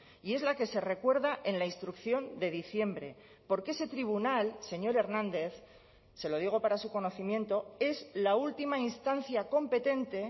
y es la que se recuerda en la instrucción de diciembre porque ese tribunal señor hernández se lo digo para su conocimiento es la última instancia competente